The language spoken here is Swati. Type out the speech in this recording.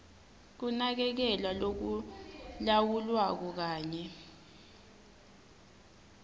kunakekelwa lokulawulwako kanye